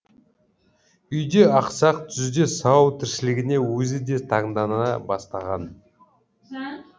үйде ақсақ түзде сау тіршілігіне өзі де таңдана бастаған